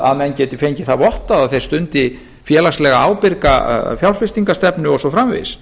að menn geti fengið það vottað að þeir stundi félagslega ábyrga fjárfestingarstefnu og svo framvegis